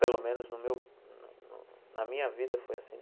Pelo menos no meu hum na minha vida foi assim.